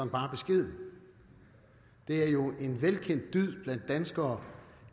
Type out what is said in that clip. bare beskeden det er jo en velkendt dyd blandt danskere